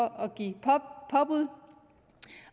at give påbud